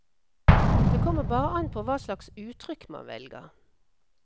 Det kommer bare an på hva slags uttrykk man velger.